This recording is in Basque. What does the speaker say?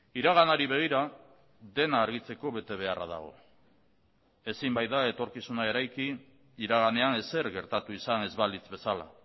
iraganari begira dena argitzeko betebeharra dago ezin baita etorkizuna eraiki iraganean ezer gertatu izan ez balitz bezala